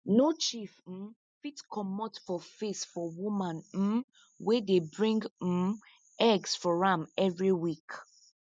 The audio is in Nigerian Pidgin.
no chief um fit comot for face for woman um wey dey bring um eggs for am every week